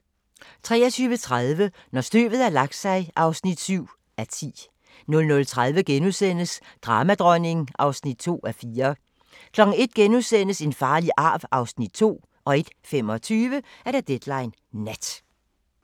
23:30: Når støvet har lagt sig (7:10) 00:30: Dramadronning (2:4)* 01:00: En farlig arv (Afs. 2)* 01:25: Deadline Nat